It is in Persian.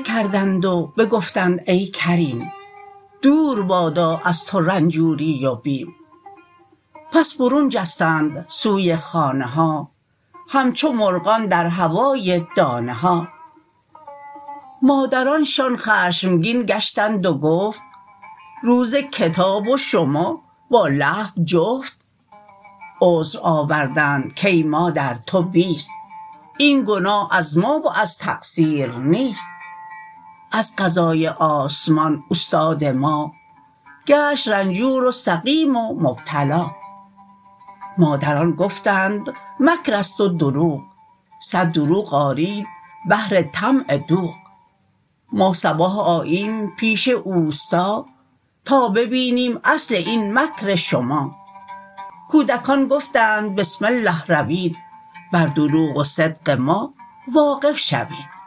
کردند و بگفتند ای کریم دور بادا از تو رنجوری و بیم پس برون جستند سوی خانه ها همچو مرغان در هوای دانه ها مادرانشان خشمگین گشتند و گفت روز کتاب و شما با لهو جفت عذر آوردند کای مادر تو بیست این گناه از ما و از تقصیر نیست از قضای آسمان استاد ما گشت رنجور و سقیم و مبتلا مادران گفتند مکرست و دروغ صد دروغ آرید بهر طمع دوغ ما صباح آییم پیش اوستا تا ببینیم اصل این مکر شما کودکان گفتند بسم الله روید بر دروغ و صدق ما واقف شوید